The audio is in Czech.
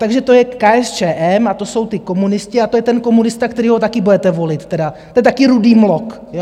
Takže to je KSČM a to jsou ti komunisti a to je ten komunista, kterého taky budete volit tedy, to je taky rudý mlok, jo?